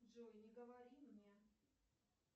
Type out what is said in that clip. джой не говори мне